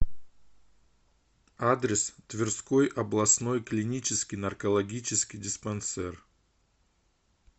адрес тверской областной клинический наркологический диспансер